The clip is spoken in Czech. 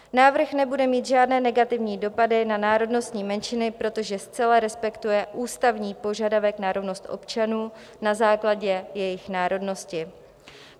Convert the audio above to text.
Návrh nebude mít žádné negativní dopady na národnostní menšiny, protože zcela respektuje ústavní požadavek na rovnost občanů na základě jejich národnosti.